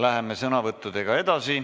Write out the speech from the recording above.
Läheme sõnavõttudega edasi.